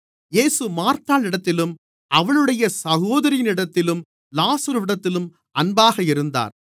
இயேசு மார்த்தாளிடத்திலும் அவளுடைய சகோதரியினிடத்திலும் லாசருவினிடத்திலும் அன்பாக இருந்தார்